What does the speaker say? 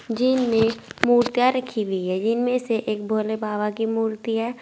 Gym में मूर्तियां रखी हुई है जिनमें से एक भोले बाबा की मूर्ति है।